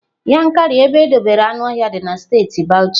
Yankari ebe edobere anuohia dị na steeti bauchi.